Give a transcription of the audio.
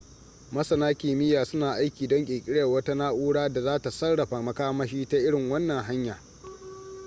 masana kimiyya suna aiki don ƙirƙirar wata na'ura da za ta sarrafa makamashi ta irin wannan hanya